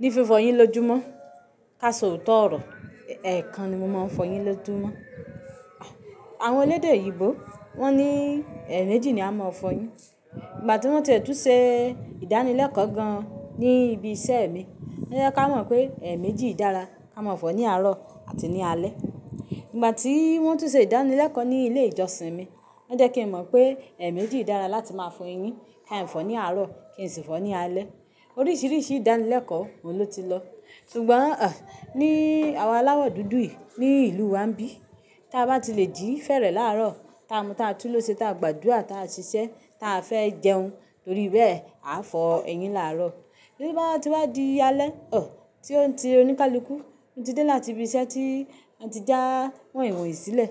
Ní fifọ eyín lójúmọ́, ká sọ òótọ́ ọ̀rọ̀ ẹ̀ekan ni mo máa ń fọ eyín lójú mọ́. Àwọn elédè òyìbò wón ní ẹ̀eméjì ni a mo fọ eyín. Ìgbà tí wọ́n ti ẹ̀ tún se ìdánilẹ́kọ̀ọ́ gan ní ibi iṣẹ́ mi, wọ́n jẹ́ ká mọ̀ pé ẹ̀eméjì dára ká máa fọ ní àárọ̀ àti ní alẹ́. Ìgbà tí wọ́n tún ṣe ìdánilẹ́kọ̀ọ́ ní ilé ìjọsìn mi, wọ́n jẹ́ kí n mọ̀ pé ẹ̀eméjì dára láti máa fọ eyín. Ki ń fọ ní àárọ̀ kí n sì fọ ní alẹ́. Oríṣiríṣi ìdánilẹ́kọ̀ọ́ mo ló ti lọ. Ṣùgbọ́n, ní àwa aláwọ̀ dúdú yìí ní ìlú wa ńbí, tí a bá ti le jì fẹ́rẹ̀ láàárọ̀, tí a mu tí a túnle ṣe, tí a gbàdúrà, tí a ṣiṣẹ́, tí a fẹ́ jẹun, torí bẹ́ẹ̀ a fọ eyín láàárọ̀. Tí ó bá ti wá di alẹ́, tí ó ń ti oníkálukú, tí ó ti dé láti ibi iṣẹ́ tí wọ́n ti já wọ́inwoin sílẹ̀,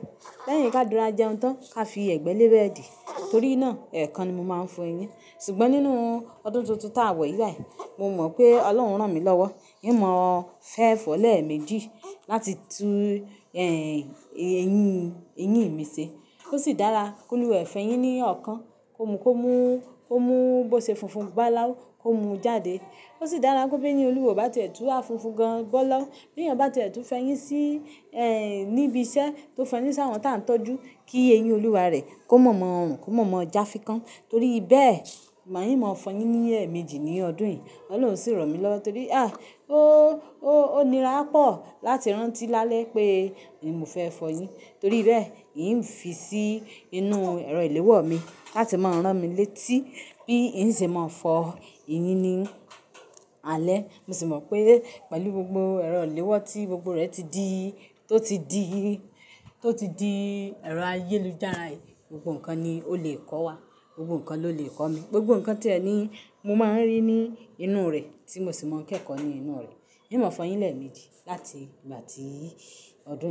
lẹ́yìn ká rora jẹun tán ká fi ẹ̀gbẹ́ lé bẹ́ẹ̀dì. Torí náà ẹ̀ kan ni mo máa ń fọ eyín. Ṣùgbọ́n nínú ọdún tuntun tá wọ̀ yìí báì, mo mọ̀ pé Ọlọ́run o rán mi lọ́wọ́. Ín mọ fẹ́ fọ lẹ̀eméjì láti tú ẹ́, eyín, eyín mi ṣe. Kó sì dára kóluwa e o fẹ́ eyín ní ọ̀kan, kó mu, kó mú, kó mú bó ṣe funfun báláu, kó mú jáde. Ó sì dára kó bí eyin olúwa e o bá tun wa funfun gan gbọ́ lọ. Bí ènìyàn bá ti ẹ̀tú fẹyín sí, ẹ́, níbi iṣẹ́ tó fẹyín sí àwọn tí a ń tọ́jú, kí eyín olúwa rẹ̀ kó mọ̀ mọ̀ rùn, kó mọ̀ mọ̀ ọ́ já fi kán. Torí bẹ́ẹ̀, màá yín máa fọ eyín ní ẹ̀eméjì ní ọdún yìí. Ọlọ́run sì ràn mí lọ́. Torí a, ó, ó, ó nira pọ̀ láti rántí lálẹ́ pé mi ò fẹ́ fọ eyín. Torí bẹ́ẹ̀, ìy í ń fi sí inú ẹrọ ìléwọ́ mi láti máa rán mi létí bí ì ń ṣe mọ̀ fọ eyín ní alẹ́. Mo sì mọ̀ pé pẹ̀lú gbogbo ẹrọ ìléwọ́ tí gbogbo rẹ̀ ti di, tó ti di, tó ti di ẹrọ ayélujára, gbogbo nǹkan ni ó lè kọ́ wa. Gbogbo nǹkan ló lè kọ́ mi. Gbogbo nǹkan tí ẹni mo máa ń rí ní inú rẹ̀ tí mo sì máa ń kẹ́kọ̀ọ́ ní inú rẹ̀. Ín mọ̀ fọ eyín lẹ́ẹ̀méjì láti ìgbà tí ọdún yìí.